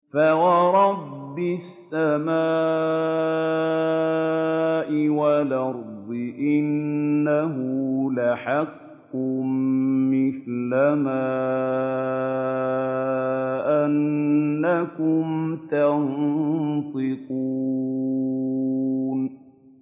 فَوَرَبِّ السَّمَاءِ وَالْأَرْضِ إِنَّهُ لَحَقٌّ مِّثْلَ مَا أَنَّكُمْ تَنطِقُونَ